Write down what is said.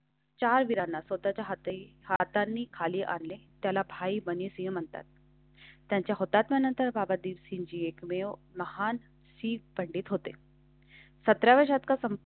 चार वीरांना स्वतःच्या हातें हातांनीखाली आणले. त्याला भाई बने सिंह म्हणतात त्यांच्या होता. त्यानंतर बाबा दिवशी जी एकमेव महान सी पंडित होते. सतरा व्या शतका?